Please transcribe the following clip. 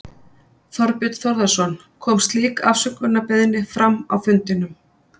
Þorbjörn Þórðarson: Kom slík afsökunarbeiðni fram á fundinum?